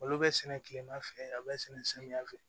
Olu bɛ sɛnɛ kilema fɛ a be sɛnɛ samiya fɛ